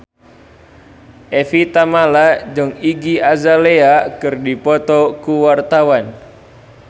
Evie Tamala jeung Iggy Azalea keur dipoto ku wartawan